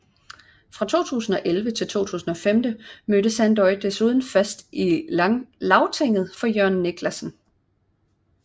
Fra 2011 til 2015 mødte Sandoy desuden fast i Lagtinget for Jørgen Niclasen